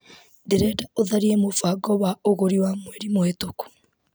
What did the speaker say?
Ndĩreda ũtharie mũbango wa ũgũri wa mweri mũhetũku.